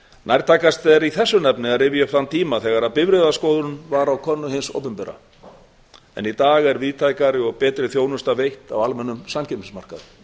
nærtækast er í þessu efni að rifja upp þann tíma þegar bifreiðaskoðun var á könnu hins opinbera en í dag er víðtækari og betri þjónusta veitt á almennum samkeppnismarkaði það